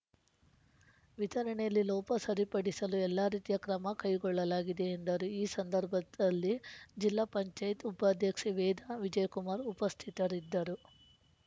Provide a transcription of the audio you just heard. ವಿತರಣೆಯಲ್ಲಿ ಲೋಪ ಸರಿಪಡಿಸಲು ಎಲ್ಲಾ ರೀತಿಯ ಕ್ರಮ ಕೈಗೊಳ್ಳಲಾಗಿದೆ ಎಂದರು ಈ ಸಂದರ್ಭದಲ್ಲಿ ಜಿಲ್ಲಾ ಪಂಚಾಯತ್ ಉಪಾಧ್ಯಕ್ಷೆ ವೇದಾ ವಿಜಯಕುಮಾರ್‌ ಉಪಸ್ಥಿತರಿದ್ದರು